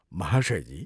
" महाशयजी!